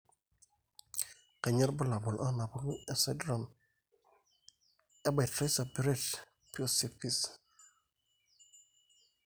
Kainyio irbulabul onaapuku esindirom eBaraitser Brett Piesowicz?